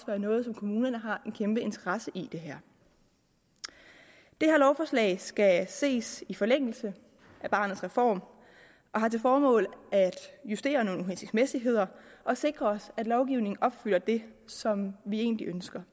være noget som kommunerne har en kæmpe interesse i det her lovforslag skal ses i forlængelse af barnets reform og har til formål at justere nogle uhensigtsmæssigheder og sikre at lovgivningen opfylder det som vi egentlig ønsker